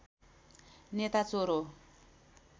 नेता चोर हो